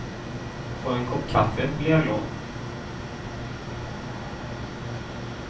Får jag en kopp kaffe blir jag glad.